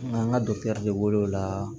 An ka wolola